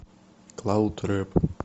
клауд рэп